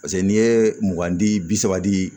Paseke n'i ye mugan di bi saba di